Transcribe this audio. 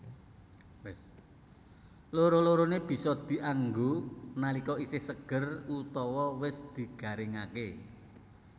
Loro loroné bisa dianggo nalika isih seger utawa wis digaringaké